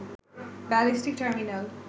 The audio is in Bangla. ballistic terminal